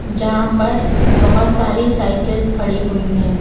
जहां पर बहोत सारी साइकिल्स खड़ी हुई है।